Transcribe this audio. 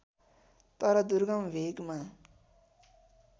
तर दुर्गम भेगमा